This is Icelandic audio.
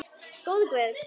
Góði Guð.